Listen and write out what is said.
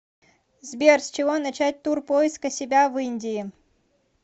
сбер с чего начать тур поиска себя в индии